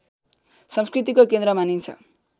संस्कृतिको केन्द्र मानिन्छ